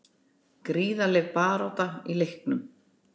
Gríðarleg barátta í leiknum